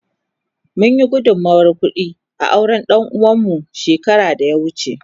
Mun yi gudunmawar kudi a auren danuwa mu shekara da ya wuce.